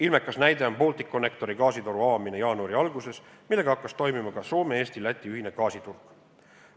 Ilmekas näide on Balticconnectori gaasitoru avamine jaanuari alguses, millega hakkas toimima ka Soome-Eesti-Läti ühine gaasiturg.